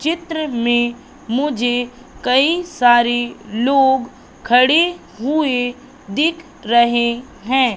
चित्र में मुझे कई सारी लोग खड़े हुए दिख रहे हैं।